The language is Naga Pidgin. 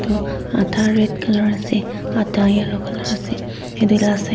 oh atha red colour ase atha yellow colour ase yate la side --